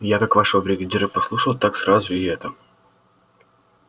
я как вашего бригадира послушал так сразу и это